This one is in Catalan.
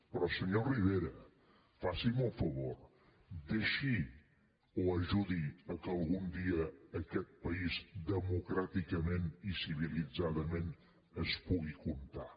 però senyor rivera faci’m un favor deixi o ajudi perquè algun dia aquest país democràticament i civilitzadament es pugui comptar